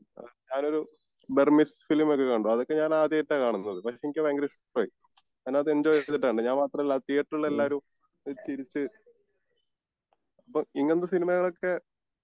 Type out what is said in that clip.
അഹ് ഞാനൊരു Burmese film ഒക്കെ കണ്ടു അതൊക്കെ ഞാൻ ആദ്യായിട്ടാണ് കാണുന്നത് പക്ഷെ എനിക്ക് അത് ഭയങ്കര ഇഷ്ടായി കാരണം അത് എൻജോയ് ചെയ്തിട്ടാ കണ്ടെ ഞാൻ മാത്രം അല്ല തീയറ്ററിൽ ഉള്ള എല്ലാവരും അപ്പൊ ഇങ്ങനത്തെ സിനിമകൾ ഒക്കെ